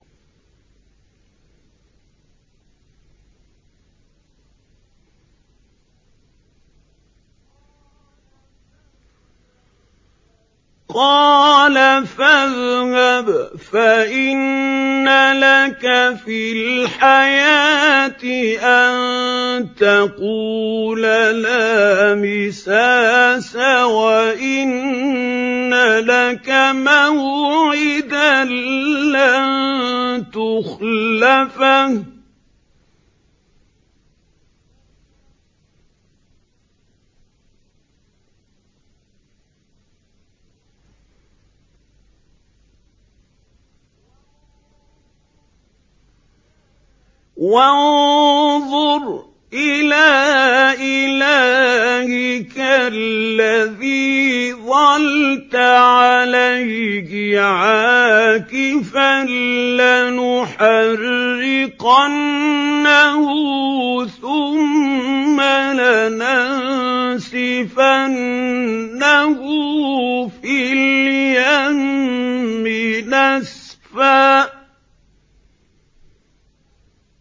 قَالَ فَاذْهَبْ فَإِنَّ لَكَ فِي الْحَيَاةِ أَن تَقُولَ لَا مِسَاسَ ۖ وَإِنَّ لَكَ مَوْعِدًا لَّن تُخْلَفَهُ ۖ وَانظُرْ إِلَىٰ إِلَٰهِكَ الَّذِي ظَلْتَ عَلَيْهِ عَاكِفًا ۖ لَّنُحَرِّقَنَّهُ ثُمَّ لَنَنسِفَنَّهُ فِي الْيَمِّ نَسْفًا